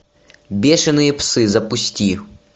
бешеные псы запусти